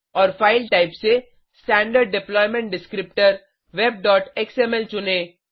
और file type से standard deployment Descriptorwebएक्सएमएल चुनें